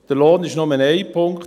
Der Lohn ist nur ein Punkt.